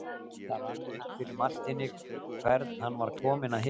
Það rann upp fyrir Marteini hvern hann var kominn að hitta.